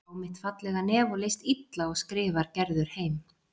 Hann sá mitt fallega nef og leist illa á skrifar Gerður heim.